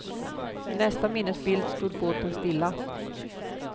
I nästa minnesbild stod båten stilla.